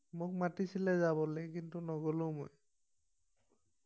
মোক মাতিছিলে যাবলে কিন্তু নগলো মই